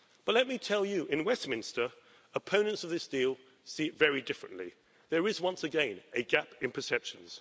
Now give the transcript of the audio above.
Let me tell you that in Westminster, opponents of this deal see it very differently. There is, once again, a gap in perceptions.